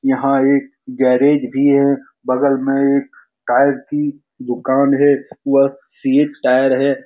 यहाँ एक गैरेज भी है बगल में एक टायर की दुकान है वह सीएट टायर है।